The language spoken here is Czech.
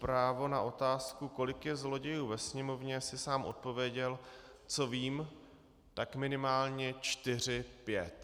Právo na otázku, kolik je zlodějů ve Sněmovně, si sám odpověděl: Co vím, tak minimálně čtyři pět.